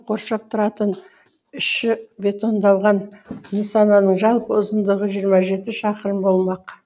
қаланы айналдыра қоршап тұратын іші бетондалған нысанның жалпы ұзындығы жиырма жеті шақырым болмақ